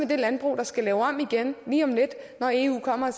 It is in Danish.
det landbrug der skal lave om igen lige om lidt når eu kommer